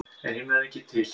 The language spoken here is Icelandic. Er himnaríki til?